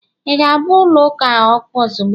ị ga-agba ụlọ ụka a ọkụ ozugbo